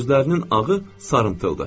Gözlərinin ağı sarıntıldı.